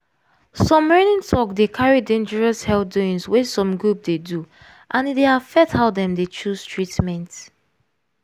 some reigning talk dey carry dangerous health doings wey some group dey do and e dey affect how dem dey choose treatment.